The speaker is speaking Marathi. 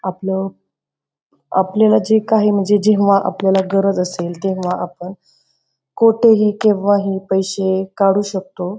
आपलं आपल्याला जे काही म्हणजे जेंव्हा आपल्याला गरज असेल तेंव्हा आपण कोठेही केव्हाही पैसे काढू शकतो.